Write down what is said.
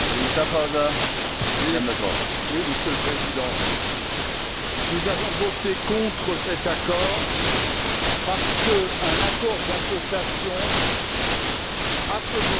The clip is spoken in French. Monsieur le Président, nous avons voté contre cet accord parce qu'un accord d'association en ce moment, c'est préparer la guerre.